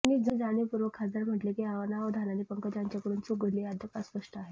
त्यांनी जाणीवपूर्वक खासदार म्हटले की अनावधानाने पंकजा यांच्याकडून चूक घडली हे अद्याप अस्पष्ट आहे